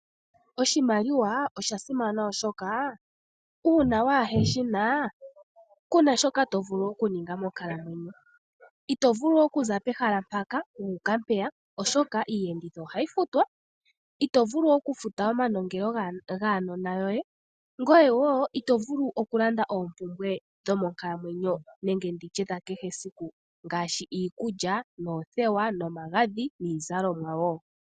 Oshimaliwa osha simana oshoka uuna waheshi na, kuna shoka tovulu okuninga monkalamwenyo. Itovulu oku za pehala mpaka wuuka mpeya oshoka iiyenditho ohayi futwa, itovulu okufuta omanongelo gaanona yoye, ngoye wo itovulu okulanda oompumbwe dho monkalamwenyo nenge ndi tye dha kehe siku ngaashi: iikulya, oothewa nomagadhi niizalomwa wo.